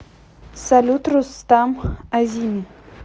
салют рустам азими